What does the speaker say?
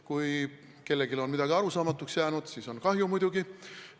Kui kellelegi on midagi arusaamatuks jäänud, siis on muidugi kahju.